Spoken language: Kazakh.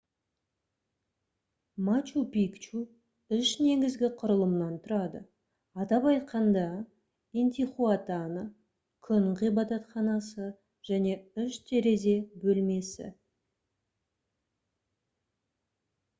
мачу пикчу үш негізгі құрылымнан тұрады атап айтқанда интихуатана күн ғибадатханасы және үш терезе бөлмесі